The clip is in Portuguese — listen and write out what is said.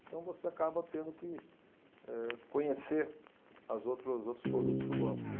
Então, você acaba tendo que, eh, conhecer as outros, os outros produtos do banco. E